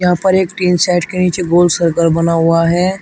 यहां पर एक टीन सेट के नीचे गोल सर्कल बना हुआ है।